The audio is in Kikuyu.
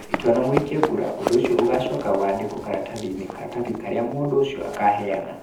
Itua na mũikia kura, ũndũ ũcio ũgaacoka wandĩkwo karatathi-inĩ. Karatathi karĩa mũndũ ũcio akaheana.